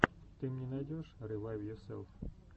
ты мне найдешь ревайвйоселф